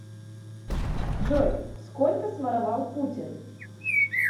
джой сколько своровал путин